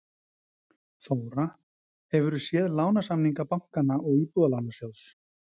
Þóra: Hefur þú séð lánasamninga bankanna og Íbúðalánasjóðs?